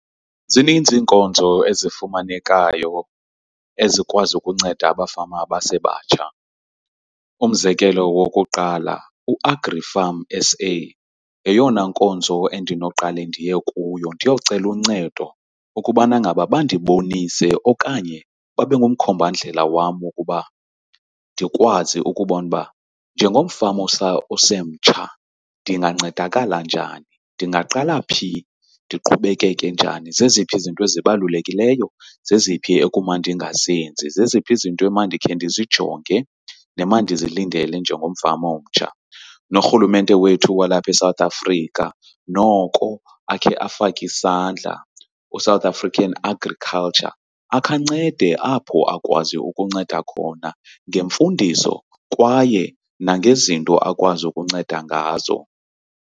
Zininzi iinkonzo ezifumanekayo ezikwazi ukunceda abafama abasebatsha. Umzekelo wokuqala uAgrifarm S_A yeyona nkonzo endinoqale ndiye kuyo ndiyocela uncedo ukubana ngaba bandibonise okanye babe ngumkhombandlela wam wokuba ndikwazi ukubona uba njengomfama osemtsha ndingancedakala njani ndingaqala phi ndiqhubekeke njani. Zeziphi izinto ezibalulekileyo, zeziphi ekumandinga zenzi. Zeziphi zinto emandikhe ndizijonge nemandizilindele njengomfama omtsha. Norhulumente wethu walapha eSouth Afrika, noko akhe afake isandla u-South African Agriculture akhancede apho akwaziyo ukunceda khona ngemfundiso kwaye nangezinto akwazi ukunceda ngazo.